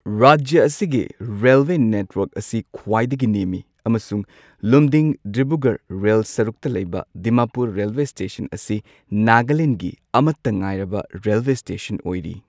ꯔꯥꯖ꯭ꯌꯥ ꯑꯁꯤꯒꯤ railway network ꯑꯁꯤ ꯈ꯭ꯋꯥꯏꯗꯒꯤ ꯅꯦꯝꯃꯤ ꯑꯃꯁꯨꯡ ꯂꯨꯝꯗꯤꯡ ꯗꯤꯕ꯭ꯔꯨꯒꯔ ꯔꯦꯜ ꯁꯔꯨꯛꯇ ꯂꯩꯕ ꯗꯤꯃꯥꯄꯨꯔ ꯔꯦꯜꯋꯦ ꯁ꯭ꯇꯦꯁꯟ ꯑꯁꯤ ꯅꯥꯒꯥꯂꯦꯟꯗꯒꯤ ꯑꯃꯠꯇ ꯉꯥꯏꯔꯕ ꯔꯦꯜꯋꯦ ꯁ꯭ꯇꯦꯁꯟ ꯑꯣꯏꯔꯤ꯫